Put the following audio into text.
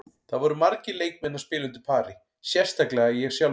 Það voru margir leikmenn að spila undir pari, sérstaklega ég sjálfur.